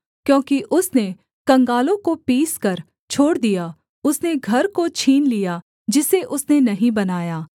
क्योंकि उसने कंगालों को पीसकर छोड़ दिया उसने घर को छीन लिया जिसे उसने नहीं बनाया